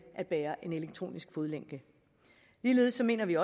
at bære en elektronisk fodlænke ligeledes mener vi